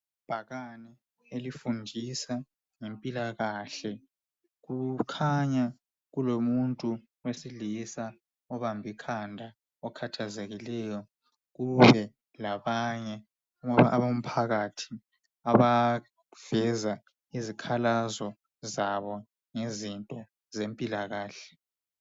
Ibhakane elifundisa ngempilakahle kukhanya kulomuntu wesilisa obambe ikhanda okhathazekileyo kube labanye abomphakathi abaveza izikhalazo zabo ngezempila kahle.